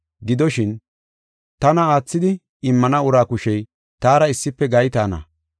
Gidoshin, tana aathidi immana uraa kushey taara issife gaytaana.